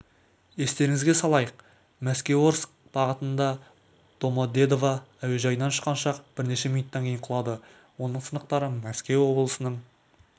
естеріңізге салайық мәскеуорск бағытында домодедово әуежайынан ұшқан ұшақ бірнеше минуттан кейін құлады оның сынықтары мәскеу облысының